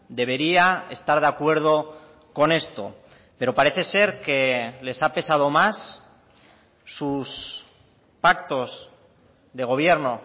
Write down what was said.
debería estar de acuerdo con esto pero parece ser que les ha pesado más sus pactos de gobierno